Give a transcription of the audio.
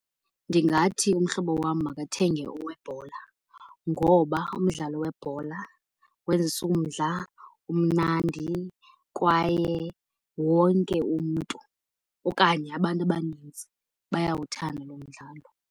Ndingathi umhlobo wam makathenge owebhola. Ngoba umdlalo webhola wenza umdla, umnandi kwaye wonke umntu okanye abantu abanintsi bayawuthanda lo mdlalo.